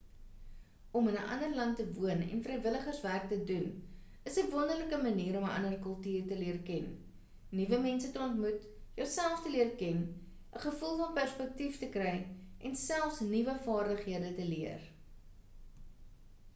om in 'n ander land te woon en vrywilligerswerk te doen is 'n wonderlike manier om 'n ander kultuur te leer ken nuwe mense te ontmoet jouself te leer ken 'n gevoel van perspektief te kry en selfs nuwe vaardighede te leer